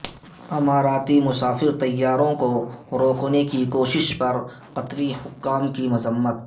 اماراتی مسافر طیاروں کو روکنے کی کوشش پر قطری حکام کی مذمت